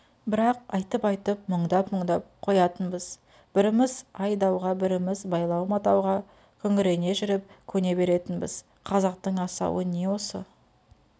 бірақ айтып-айтып мұндап-мұндап қоятынбыз біріміз ай-дауға біріміз байлау-матауға күңірене жүріп көне беретінбіз қазақтың асауы не осы